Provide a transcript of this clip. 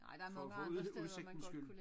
For for ud udsigtens skyld